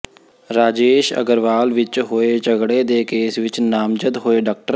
ਰਾਜੇਸ਼ ਅਗਰਵਾਲ ਵਿਚ ਹੋਏ ਝਗੜੇ ਦੇ ਕੇਸ ਵਿਚ ਨਾਮਜ਼ਦ ਹੋਏ ਡਾ